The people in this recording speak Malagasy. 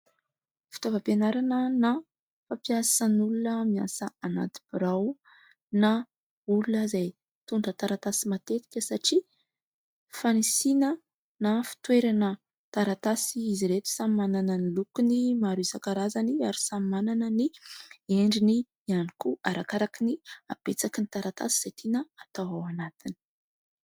Fitaovam-pianarana na fampiasan'ny olona miasa anaty birao na olona izay mitondra taratasy matetika satria fanisiana na fitoerana taratasy izy ireto, samy manana ny lokony maro isankarazany ary samy manana ny endriny ihany koa arakaraka ny habetsaky ny taratasy izay tiana hatao ao anatiny.